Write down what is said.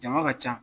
Jama ka ca